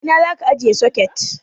A ina zaka ajiye soket?